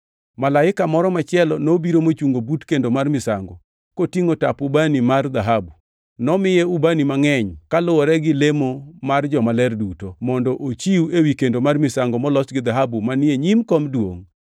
Malaika moro machielo nobiro mochungo but kendo mar misango, kotingʼo tap ubani mar dhahabu. Nomiye ubani mangʼeny, kaluwore gi lemo mar jomaler duto, mondo ochiw ewi kendo mar misango molos gi dhahabu manie nyim kom duongʼ.